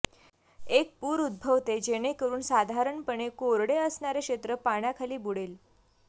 एक पूर उद्भवते जेणेकरून साधारणपणे कोरडे असणारे क्षेत्र पाण्याखाली बुडेल